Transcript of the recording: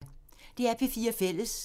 DR P4 Fælles